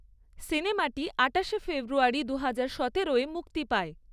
সিনেমাটি আটাশে ফেব্রুয়ারি দুহাজার সতেরোয় মুক্তি পায়।